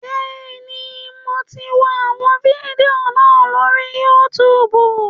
Bẹ́ẹ̀ni, mo ti wọ àwọn fídíò náà lórí Yútùùbù